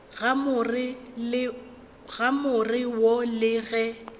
ga more wo le ge